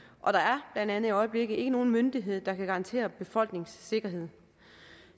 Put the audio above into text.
og der er blandt andet i øjeblikket ikke nogen myndighed der kan garantere befolkningens sikkerhed